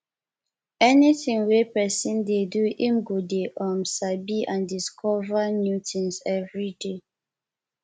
anything wey persin de do im go de um sabi and discover discover new things everyday